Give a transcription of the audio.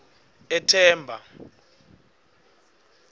ethemba